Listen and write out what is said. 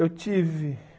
Eu tive,